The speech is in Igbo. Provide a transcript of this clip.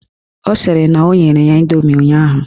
Ọ sịrị na o nyere ya indomi ụnyaahụ